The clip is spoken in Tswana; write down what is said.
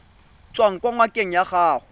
tswang kwa ngakeng ya gago